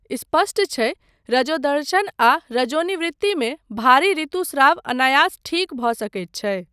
स्पष्ट छै, रजोदर्शन आ रजोनिवृत्ति मे भारी ऋतुस्राव अनायास ठीक भऽ सकैत छै।